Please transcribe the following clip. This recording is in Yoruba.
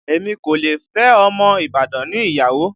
Èmi kò lè fẹ́ ọmọ Ibadan ni ìyàwó